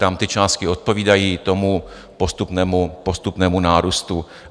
Tam ty částky odpovídají tomu postupnému nárůstu.